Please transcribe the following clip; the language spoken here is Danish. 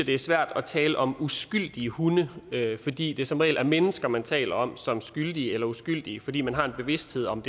det er svært at tale om uskyldige hunde fordi det som regel er mennesker man taler om som skyldige eller uskyldige fordi man har en bevidsthed om